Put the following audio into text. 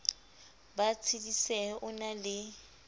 ba tshedisehe o na le